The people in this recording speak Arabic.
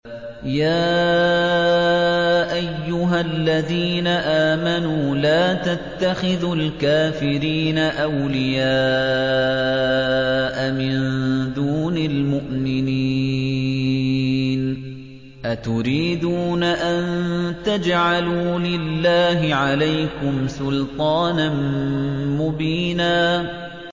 يَا أَيُّهَا الَّذِينَ آمَنُوا لَا تَتَّخِذُوا الْكَافِرِينَ أَوْلِيَاءَ مِن دُونِ الْمُؤْمِنِينَ ۚ أَتُرِيدُونَ أَن تَجْعَلُوا لِلَّهِ عَلَيْكُمْ سُلْطَانًا مُّبِينًا